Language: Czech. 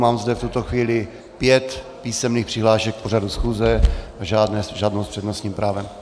Mám zde v tuto chvíli pět písemných přihlášek k pořadu schůze, žádnou s přednostním právem.